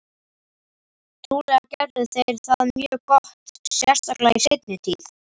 Trúlega gerðu þeir það mjög gott, sérstaklega í seinni tíð.